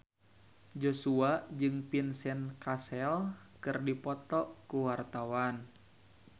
Joshua jeung Vincent Cassel keur dipoto ku wartawan